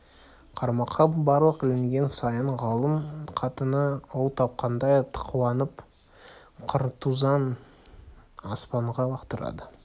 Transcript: қармаққа балық ілінген сайын ғалым қатыны ұл тапқандай қуанып картузын аспанға лақтырды